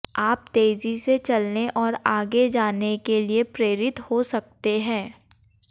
आप तेजी से चलने और आगे जाने के लिए प्रेरित हो सकते हैं